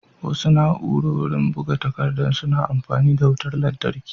Wasu na'urori buga takaddar suna amfani da wutar lantarki